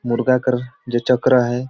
मुर्गा कर जे चक्र आहे।